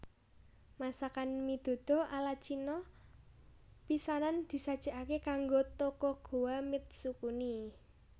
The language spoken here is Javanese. Masakan mi duduh ala Cina pisanan disajékaké kanggo Tokugawa Mitsukuni